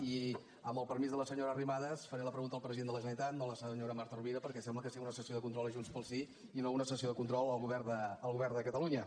i amb el permís de la senyora arrimadas faré la pregunta al president de la generalitat no a la senyora marta rovira perquè sembla que sigui una sessió de control de junts pel sí i no una sessió de control al govern de catalunya